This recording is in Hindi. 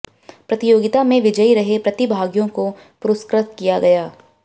प्रतियोगिता में विजयी रहे प्रतिभागियों को पुरस्कृत किया गया